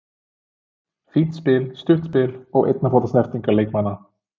Fínt spil, stutt spil og einna fóta snertingar leikmanna.